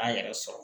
K'an yɛrɛ sɔrɔ